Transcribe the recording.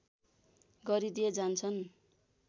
गरिदिए जान्छन्